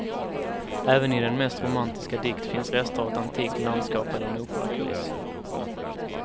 Även i den mest romantiska dikt finns rester av ett antikt landskap eller en operakuliss.